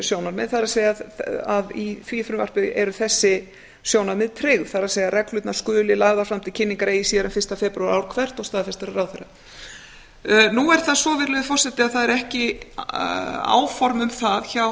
sjónarmið það er að í því frumvarpi eru þessi sjónarmið tryggð það er reglurnar skulu lagðar fram til kynningar eigi síðar en fyrsta febrúar ár hvert og staðfestar af ráðherra hæstvirtur forseti nú er það svo að það eru ekki áform um það hjá